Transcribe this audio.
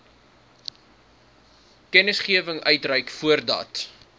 kennisgewing uitreik voordat